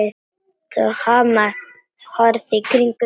Thomas horfði í kringum sig.